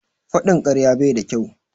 Faɗin karya bai da kyau.